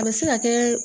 A bɛ se ka kɛ